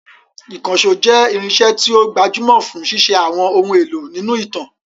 Ìkànṣó jẹ́ irinṣẹ́ tí ó gbajúmọ̀ fún ṣíṣe àwọn ohun èlò nínú ìtàn.